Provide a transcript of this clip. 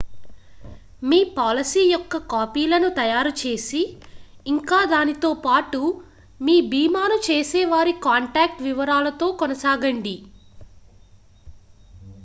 మీ policy యొక్క కాపీలను తయారు చేసి ఇంకా దానితో పాటు మీ భీమాను చేసేవారి కాంటాక్ట్ వివరాలతో కొనసాగండి